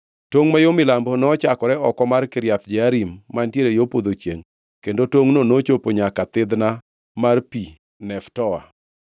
Tongʼ ma yo milambo nochakore oko mar Kiriath Jearim mantiere yo podho chiengʼ, kendo tongʼno nochopo nyaka thidhna mar pi Neftoa.